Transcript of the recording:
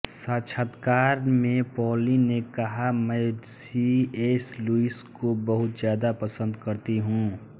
साक्षात्कार में पॉलिन ने कहा मैं सी एस लुईस को बहुत ज्यादा पसंद करती हूं